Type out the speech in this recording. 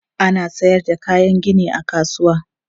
Ana sayar da kayan gini a kasuwa.